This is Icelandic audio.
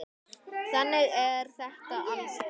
Þannig er þetta alls staðar.